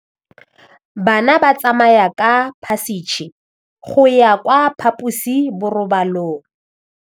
Bana ba tsamaya ka phašitshe go ya kwa phaposiborobalong.